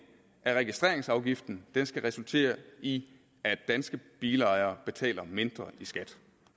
af registreringsafgiften skal resultere i at danske bilejere betaler mindre i skat